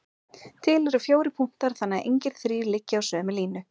Til eru fjórir punktar þannig að engir þrír liggi á sömu línu.